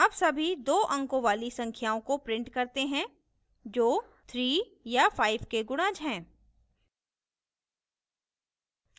अब सभी 2 अंकों वाली संख्याओं को print करते हैं जो 3 या 5 के गुणज हैं